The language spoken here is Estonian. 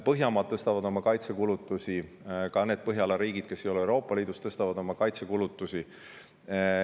Põhjamaad tõstavad oma kaitsekulutusi, ka need Põhjala riigid, kes ei ole Euroopa Liidus, tõstavad oma kaitsekulutusi.